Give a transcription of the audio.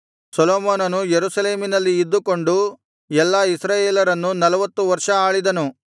ಸೊಲೊಮೋನನು ಯೆರೂಸಲೇಮಿನಲ್ಲಿ ಇದ್ದುಕೊಂಡು ಎಲ್ಲಾ ಇಸ್ರಾಯೇಲರನ್ನು ನಲ್ವತ್ತು ವರ್ಷ ಆಳಿದನು